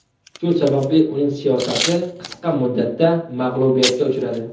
Shu sababli uning siyosati qisqa muddatda mag‘lubiyatga uchradi.